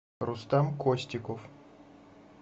рустам костиков